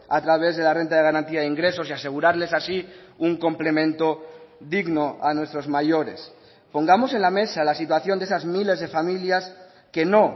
a través de la renta de garantía de ingresos y asegurarles así un complemento digno a nuestros mayores pongamos en la mesa la situación de esas miles de familias que no